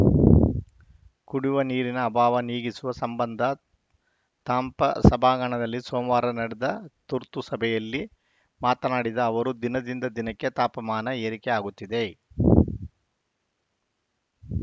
ಕುಡಿವ ನೀರಿನ ಅಭಾವ ನೀಗಿಸುವ ಸಂಬಂಧ ತಾಂಪ ಸಭಾಂಗಣದಲ್ಲಿ ಸೋಮವಾರ ನಡೆದ ತುರ್ತು ಸಭೆಯಲ್ಲಿ ಮಾತನಾಡಿದ ಅವರು ದಿನದಿಂದ ದಿನಕ್ಕೆ ತಾಪಮಾನ ಏರಿಕೆಯಾಗುತ್ತಿದೆ